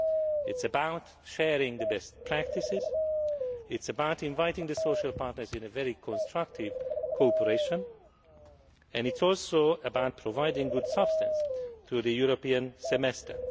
It is about sharing best practices, it is about inviting the social partners into a very constructive cooperation and it is also about providing good substance to the European semester.